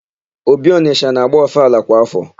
Obi Ọnịsha na-agba ọfala kwa áfọ.